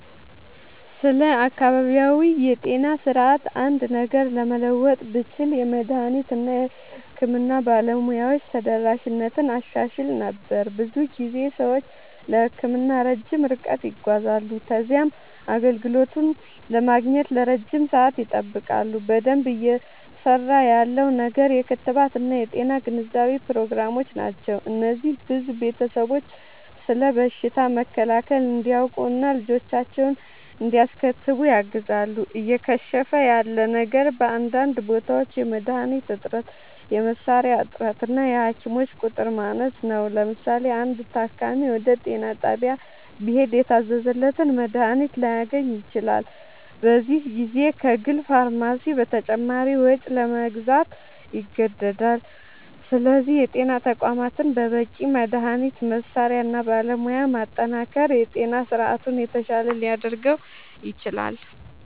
ስለ አካባቢያዊ የጤና ስርዓት አንድ ነገር ለመለወጥ ብችል፣ የመድኃኒት እና የሕክምና ባለሙያዎች ተደራሽነትን አሻሽል ነበር። ብዙ ጊዜ ሰዎች ለሕክምና ረጅም ርቀት ይጓዛሉ ከዚያም አገልግሎቱን ለማግኘት ለረጅም ሰዓት ይጠብቃሉ። በደንብ እየሠራ ያለው ነገር የክትባት እና የጤና ግንዛቤ ፕሮግራሞች ናቸው። እነዚህ ብዙ ቤተሰቦች ስለ በሽታ መከላከል እንዲያውቁ እና ልጆቻቸውን እንዲያስከትቡ ያግዛሉ። እየከሸፈ ያለ ነገር በአንዳንድ ቦታዎች የመድኃኒት እጥረት፣ የመሣሪያ እጥረት እና የሐኪሞች ቁጥር ማነስ ነው። ለምሳሌ፣ አንድ ታካሚ ወደ ጤና ጣቢያ ቢሄድ የታዘዘለትን መድኃኒት ላያገኝ ይችላል፤ በዚህ ጊዜ ከግል ፋርማሲ በተጨማሪ ወጪ ለመግዛት ይገደዳል። ስለዚህ የጤና ተቋማትን በበቂ መድኃኒት፣ መሣሪያ እና ባለሙያ ማጠናከር የጤና ስርዓቱን የተሻለ ሊያደርገው ይችላል።